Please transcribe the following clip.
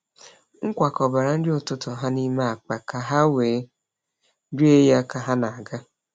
M kwakọbara nri ụtụtụ ha n’ime akpa ka ha wee rie ya ka ha na-aga.